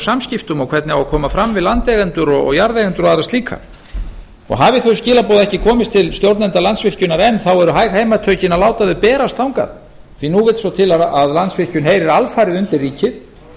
samskiptum og hvernig á að koma fram við landeigendur og jarðeigendur og aðra slíka hafi þau skilaboð ekki komist til stjórnenda landsvirkjunar enn eru hægt heimatökin að láta þau berast þangað því að nú vill svo til að landsvirkjun heyrir alfarið undir ríkið